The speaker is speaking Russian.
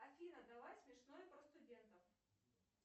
афина давай смешное про студентов